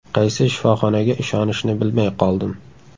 Qaysi shifoxonaga ishonishni bilmay qoldim.